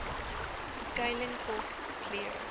skuiling kos klere